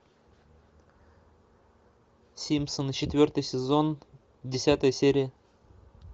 симпсоны четвертый сезон десятая серия